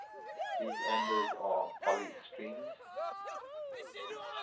these ambers are polystyrenes